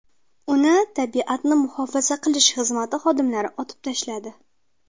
Uni tabiatni muhofaza qilish xizmati xodimlari otib tashladi.